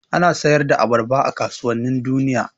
Ana sayar da abarba a kasuwannin duniya.